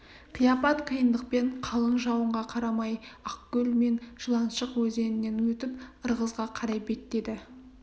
қияпат қиындықпен қалың жауынға қарамай ақкөл мен жыланшық өзенінен өтіп ырғызға қарай беттеді